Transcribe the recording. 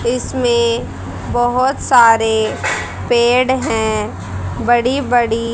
इसमें बहोत सारे पेड़ हैं बड़ी बड़ी--